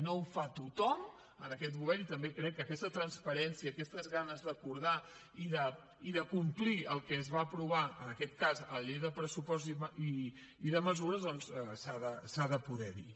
no ho fa tothom en aquest govern i també crec que aquesta transparència i aquestes ganes d’acordar i de complir el que es va aprovar en aquest cas al pressupost i a la llei de mesures doncs s’ha de poder dir